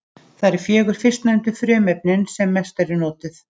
Það eru fjögur fyrstnefndu frumefnin sem mest eru notuð.